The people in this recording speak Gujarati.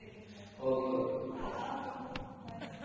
ઠીક છે ok ok આવજો bye